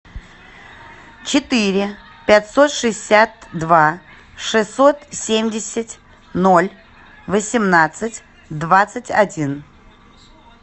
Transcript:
четыре пятьсот шестьдесят два шестьсот семьдесят ноль восемнадцать двадцать один